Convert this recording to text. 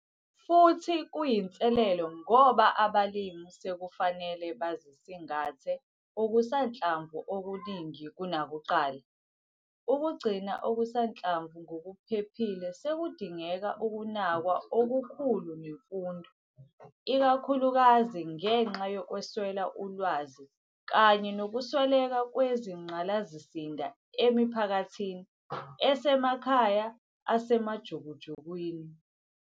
Futhi kuyinselelo ngoba abalimi sekufanele bazosingathe okusanhlamvu okuningi kunakuqala. Ukugcina okusanhlamvu ngokuphephile sekudinge ukunakwa okukhulu nemfundo, ikakhulukazi ngenxa yokweswela ulwazi kanye nokusweleka kwezingqalasizinda emiphakathini esemakhaya asemajukujukwini.